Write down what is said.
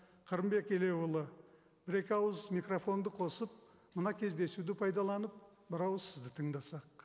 қырымбек елеуұлы бір екі ауыз микрофонды қосып мына кездесуді пайдаланып бір ауыз сізді тыңдасақ